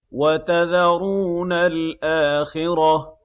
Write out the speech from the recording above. وَتَذَرُونَ الْآخِرَةَ